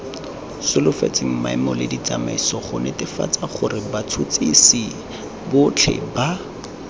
solofetsweng maemoleditsamaiso gonetefatsagorebats huts hisibotlheba